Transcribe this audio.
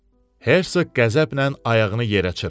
Hersoq qəzəblə ayağını yerə çırpdı.